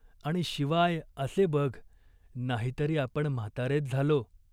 आणि शिवाय असे बघ, नाहीतरी आपण म्हातारेच झालो.